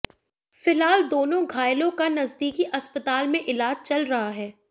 फिलहाल दोनों घायलों का नजदीकी अस्पताल में इलाज चल रहा है